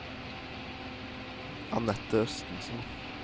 Anette Østensen